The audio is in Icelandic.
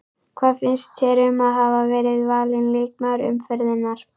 Hvað finnst þér um að hafa verið valin leikmaður umferðarinnar?